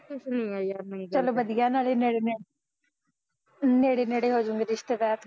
ਚੱਲ ਵਧੀਆ ਨਾਲੇ ਨੇੜੇ ਨੇੜੇ ਨੇੜੇ ਨੇੜੇ ਹੋਜੂਗੇ ਰਿਸ਼ਤੇਦਾਰ